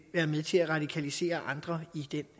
være med til at radikalisere andre i den